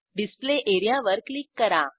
display area वर click करा